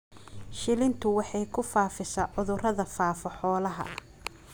Shilintu waxay ku faafisaa cudurrada faafa xoolaha.